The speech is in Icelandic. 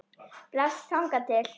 Bless þangað til.